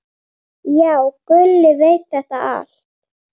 Já, Gulli veit þetta allt.